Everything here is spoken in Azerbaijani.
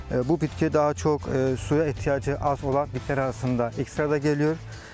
Bu bitki daha çox suya ehtiyacı az olan bitkilər arasında ekstra da gedilir.